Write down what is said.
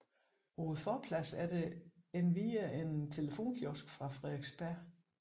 På forpladsen er der endvidere en telefonkiosk fra Frederiksberg